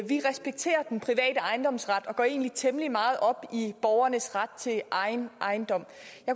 vi respekterer den private ejendomsret og går egentlig temmelig meget op i borgernes ret til egen ejendom